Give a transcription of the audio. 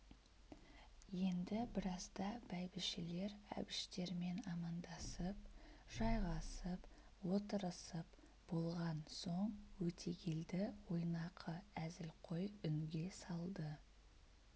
енді біразда бәйбішелер әбіштермен амандасып жайғасып отырысып болған соң өтегелді ойнақы әзілқой үнге салды